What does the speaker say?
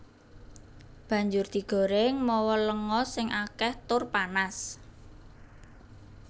Banjur digorèng mawa lenga sing akèh tur panas